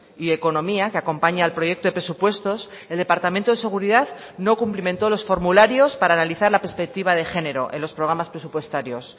y economía que acompaña al proyecto de presupuestos el departamento de seguridad no cumplimento los formularios para analizar la perspectiva de género en los programas presupuestarios